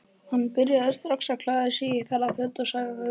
Hann byrjaði strax að klæða sig í ferðaföt og sagði